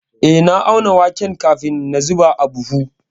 Eh, na auna waken kafin na zuba a buhu.